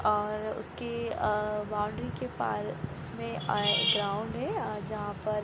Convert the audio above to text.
और उसकी अ बाउंड्री के पास में अ ग्राउंड है अ जहाँ पर --